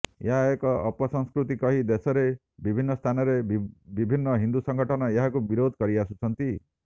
ଏହା ଏକ ଅପସଂସ୍କୃତି କହି ଦେଶରେ ବିଭିର୍ଣ୍ଣ ସ୍ଥାନରେ ବିଭିର୍ଣ୍ଣ ହିନ୍ଦୁ ସଙ୍ଗଠନ ଏହାକୁ ବିରୋଧ କରି ଆସୁଛନ୍ତି